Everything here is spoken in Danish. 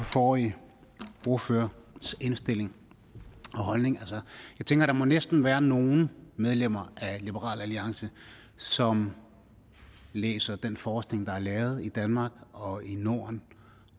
forrige ordførers indstilling og holdning jeg tænker at der næsten må være nogle medlemmer af liberal alliance som læser den forskning der er lavet i danmark og i norden